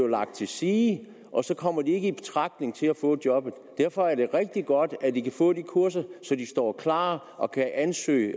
lagt til side og så kommer man ikke i betragtning til at få jobbet derfor er det rigtig godt at de kan få de kurser så de står klar og kan ansøge